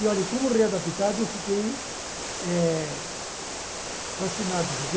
E, olha, como readaptado, eu fiquei eh fascinado, gente.